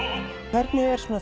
hvernig er